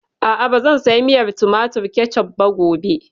A'a, ba zan saya miyar tumatir (Ketchup) ba gobe